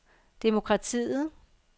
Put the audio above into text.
demokratiet